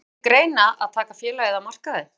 Kemur til greina að taka félagið af markaði?